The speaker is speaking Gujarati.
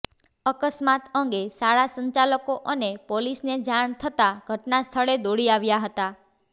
અકસ્માત અંગે શાળા સંચાલકો અને પોલીસને જાણ થતા ઘટના સ્થળે દોડી આવ્યા હતા